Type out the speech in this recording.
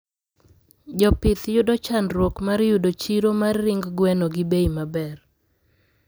Jopih yudo chandruok mar yudo chiro mr yudo chiro mar ring gwno gi bei maber